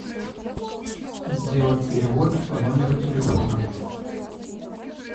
сделать перевод по номеру телефона